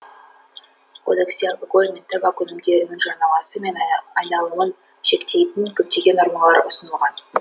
кодексте алкоголь мен табак өнімдерінің жарнамасы мен айналымын шектейтін көптеген нормалар ұсынылған